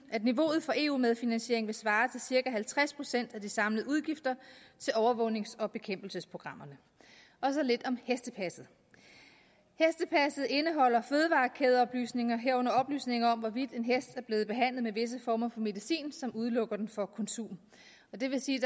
at niveauet for eu medfinansiering vil svare til cirka halvtreds procent af de samlede udgifter til overvågnings og bekæmpelsesprogrammerne og så lidt om hestepasset hestepasset indeholder fødevarekædeoplysninger herunder oplysninger om hvorvidt en hest er blevet behandlet med visse former for medicin som udelukker den fra konsum det vil sige